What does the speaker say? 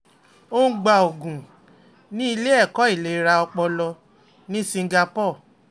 ó ń gba oògùn ní ilé ẹ̀kọ́ ìlera ọpọlọ ní singapore